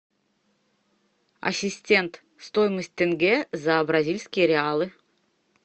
ассистент стоимость тенге за бразильские реалы